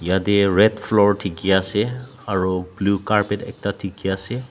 yate red floor dikhi ase aro blue carpet ekta dikhi ase.